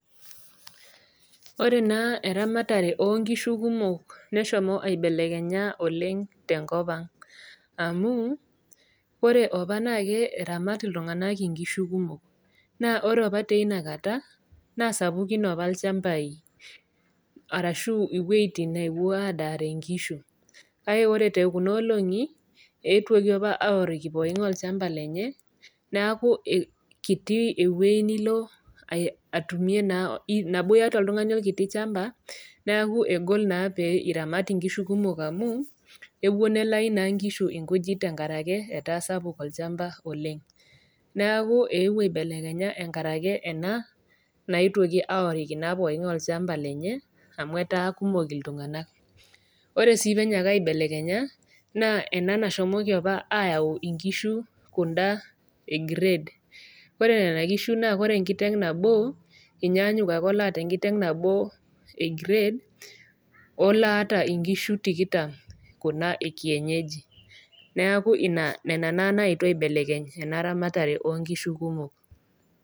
Ore naa eramatare onkishu kumok neshomo aibelekenya oleng tenkop ang amu ore opa naa ke eramat iltung'anak inkishu kumok naa ore opa teina kata naa sapukin apa ilchambai arashu iwuejitin newuo adaare inkishu kake ore tekuna olong'i etuoki opa aworiki poking'ae olchamba lenye neaku kiti ewueji nilo ae atumie naa nabo iyata oltung'ani olkiti chamba neaku egol naa pei iramat inkishu kumok amu ewuo nelai naa inkishu enkujit tenkarake etaa sapuk olchamba oleng neaku eewuo aibelekenya enkarake ena naetuoki aworiki naa poking'ae olchamba lenye amu etaa kumok iltung'anak ore sii penyaaka aibelekekenya naa ena nashomoki opa ayau inkishu kunda e grade ore nena kishu naa kore enkiteng nabo enyaanyuk ake oloota enkiteng nabo e grade oloata inkishu tikitam kuna e kienyeji naaku ina nena naa naetuo aibelekeny ena ramatare onkishu kumok.